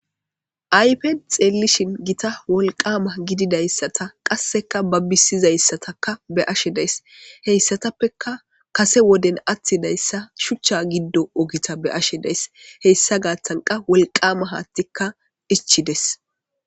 ayfen xeellishshin gitta wolqqama gididayssata qassekka babisizayssatakka be'ashshe days heyssatappeka kase woden attidayssa shuchcha giddo oggetta be'ashshe days heyssa gaththankka wolqama haattikka ichchidees